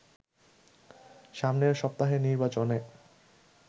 সামনের সপ্তাহের নির্বাচনে